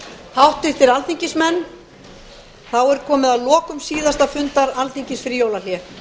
háttvirtir alþingismenn þá er komið að lokum síðasta fundar alþingis fyrir jólahlé